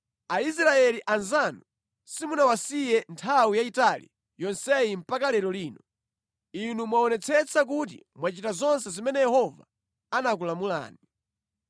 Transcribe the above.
Aisraeli anzanu simunawasiye nthawi yayitali yonseyi mpaka lero lino. Inu mwaonetsetsa kuti mwachita zonse zimene Yehova anakulamulani.